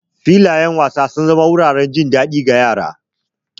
Filayen wasa sun zama wuraren jin daɗi ga yara.